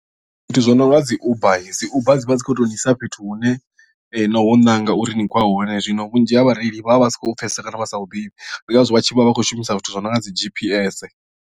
Zwithu zwo no nga dzi uber dzi uber dzi vha dzi khou tou ni isa fhethu hune no hu ṋanga uri ni khou ya hone zwino vhunzhi ha vhareili vha vha vha si khou pfhesesa kana vha sa huḓichi ndi ngazwo vha tshi vha vha khou shumisa zwithu zwi no nga dzi G_P_S.